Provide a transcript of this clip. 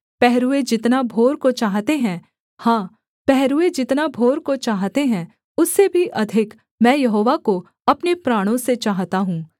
पहरूए जितना भोर को चाहते हैं हाँ पहरूए जितना भोर को चाहते हैं उससे भी अधिक मैं यहोवा को अपने प्राणों से चाहता हूँ